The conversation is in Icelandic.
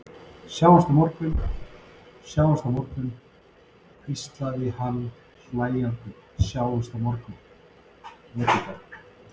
Sjáumst á morgun, sjáumst á morgun, hvíslaði hann hlæjandi, sjáumst á morgun, Edita.